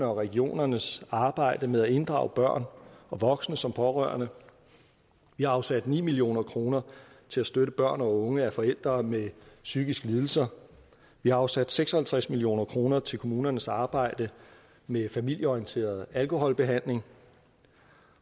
og regionernes arbejde med at inddrage børn og voksne som pårørende vi har afsat ni million kroner til at støtte børn og unge af forældre med psykiske lidelser vi har afsat seks og halvtreds million kroner til kommunernes arbejde med familieorienteret alkoholbehandling